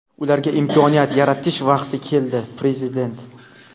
ularga imkoniyat yaratish vaqti keldi – Prezident.